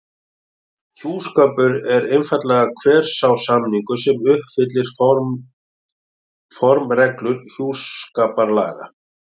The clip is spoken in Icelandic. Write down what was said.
Hjúskapur er þá einfaldlega hver sá samningur sem uppfyllir formreglur hjúskaparlaga.